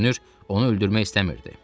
Görünür, onu öldürmək istəmirdi.